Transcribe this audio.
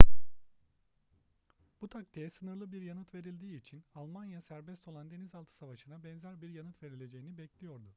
bu taktiğe sınırlı bir yanıt verildiği için almanya serbest olan denizaltı savaşına benzer bir yanıt verileceğini bekliyordu